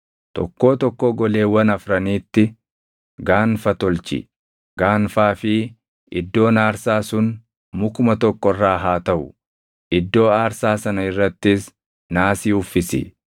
Tokkoo tokkoo goleewwan afraniitti gaanfa tolchi; gaanfaa fi iddoon aarsaa sun mukuma tokko irraa haa taʼu; iddoo aarsaa sana irrattis naasii uffisi.